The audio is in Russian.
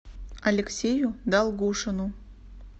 алексею долгушину